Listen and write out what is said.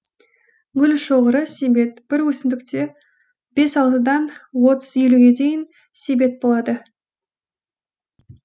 гүл шоғыры себет бір өсімдікте бес алтыдан отыз елуге дейін себет болады